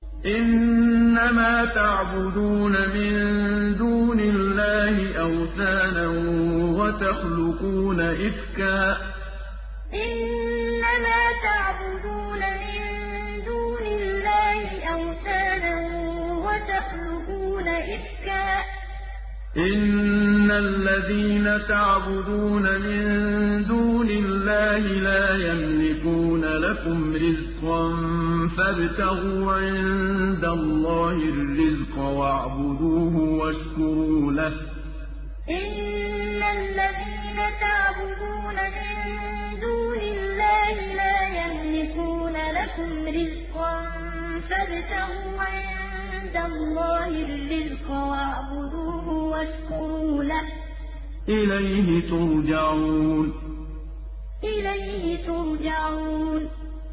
إِنَّمَا تَعْبُدُونَ مِن دُونِ اللَّهِ أَوْثَانًا وَتَخْلُقُونَ إِفْكًا ۚ إِنَّ الَّذِينَ تَعْبُدُونَ مِن دُونِ اللَّهِ لَا يَمْلِكُونَ لَكُمْ رِزْقًا فَابْتَغُوا عِندَ اللَّهِ الرِّزْقَ وَاعْبُدُوهُ وَاشْكُرُوا لَهُ ۖ إِلَيْهِ تُرْجَعُونَ إِنَّمَا تَعْبُدُونَ مِن دُونِ اللَّهِ أَوْثَانًا وَتَخْلُقُونَ إِفْكًا ۚ إِنَّ الَّذِينَ تَعْبُدُونَ مِن دُونِ اللَّهِ لَا يَمْلِكُونَ لَكُمْ رِزْقًا فَابْتَغُوا عِندَ اللَّهِ الرِّزْقَ وَاعْبُدُوهُ وَاشْكُرُوا لَهُ ۖ إِلَيْهِ تُرْجَعُونَ